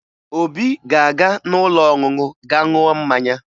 Obi ga-aga n'ụlọ ọṅụṅụ gaa ṅụọ mmanya